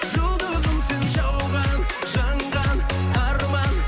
жұлдызым сен жауған жанған арман